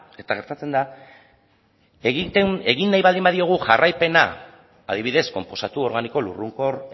eta gertatzen da egin nahi baldin badiogu jarraipena adibidez konposatu organiko lurrunkor